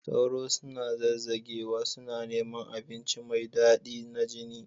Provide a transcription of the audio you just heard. Sauro suna zazzagewa, suna neman abinci mai daɗi na jini